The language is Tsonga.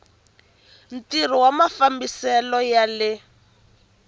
ntirho wa mafambisele ya le